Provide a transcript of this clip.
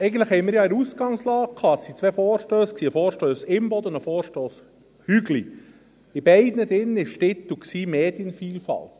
Als Ausgangslage hatten wir eigentlich zwei Vorstösse, den Vorstoss Imboden und den Vorstoss Hügli Beide enthielten den Titel «Medienvielfalt».